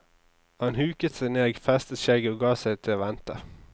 Han huket seg ned, festet skjegget og gav seg til å vente.